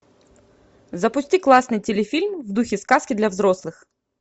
запусти классный телефильм в духе сказки для взрослых